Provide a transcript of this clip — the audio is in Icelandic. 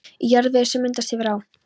Í jarðvegi, sem myndast hefur á